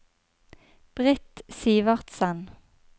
Britt Sivertsen